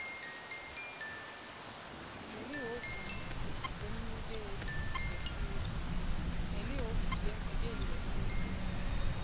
nelihhovisi lemvikeli wesive